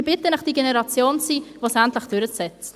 Ich bitte Sie, jene Generation zu sein, die dies durchsetzt!